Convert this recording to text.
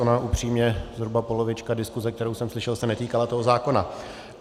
Ona upřímně zhruba polovička diskuse, kterou jsem slyšel, se netýkala tohoto zákona.